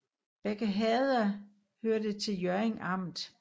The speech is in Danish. Begge herreder hørte til Hjørring Amt